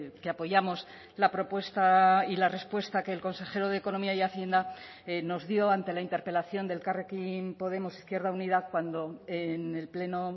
que apoyamos la propuesta y la respuesta que el consejero de economía y hacienda nos dio ante la interpelación de elkarrekin podemos izquierda unida cuando en el pleno